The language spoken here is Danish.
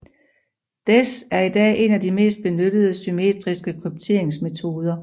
DES er i dag en af de mest benyttede symmetriske krypteringsmetoder